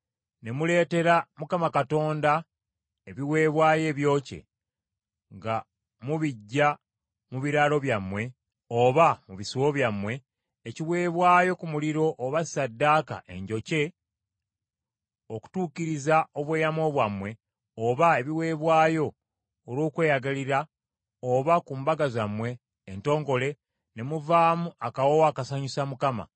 ne muleetera Mukama Katonda ebiweebwayo ebyokye nga mubiggya mu biraalo byammwe oba mu bisibo byammwe, ekiweebwayo ku muliro oba ssaddaaka enjokye, okutuukiriza obweyamo bwammwe oba ebiweebwayo olw’okweyagalira oba ku mbaga zammwe entongole, ne muvaamu akawoowo akasanyusa Mukama ;